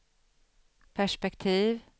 perspektiv